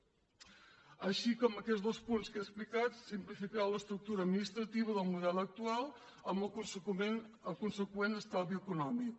així que amb aquests dos punts que he explicat simplificarà l’estructura administrativa del model actual amb el conseqüent estalvi econòmic